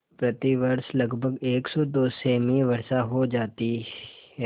प्रतिवर्ष लगभग सेमी वर्षा हो जाती है